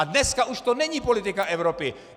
A dneska už to není politika Evropy.